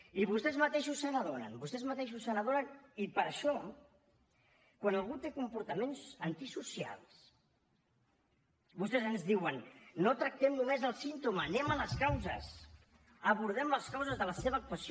i vostès mateixos se n’adonen vostès mateixos se n’adonen i per això quan algú té comportaments antisocials vostès ens diuen no tractem només el símptoma anem a les causes abordem les causes de la seva actuació